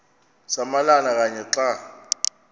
samalama kanye xa